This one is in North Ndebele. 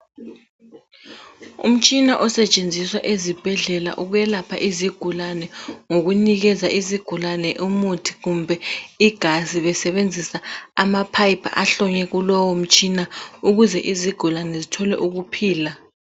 Umtshina osetshenziswa ezibhedlela ukwelapha izigulane ngokunikeza izigulane umuthi kumbe igazi besebenzisa amapipe ahlonywe kulowomtshina ukuze izigulane zithole ukuphila.